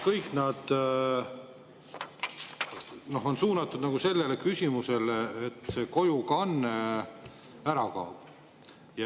Kõik need on suunatud sellele, et see kojukanne ära kaob.